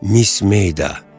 Miss Meyda.